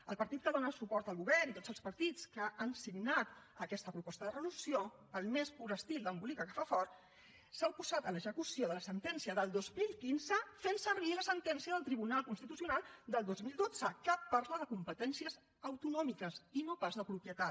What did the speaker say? el partit que dóna suport al govern i tots els partits que han signat aquesta proposta de resolució al més pur estil d’embolica que fa fort s’han oposat a l’execució de la sentència del dos mil quinze fent servir la sentència del tribunal constitucional del dos mil dotze que parla de competències autonòmiques i no pas de propietat